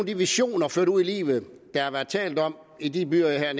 de visioner ført ud i livet der har været talt om i de byer jeg her